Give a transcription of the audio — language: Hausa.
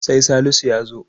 sai Salisu ya zo